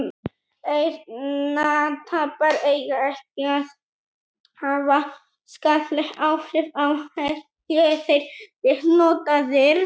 eyrnatappar eiga ekki að hafa skaðleg áhrif á heyrn séu þeir rétt notaðir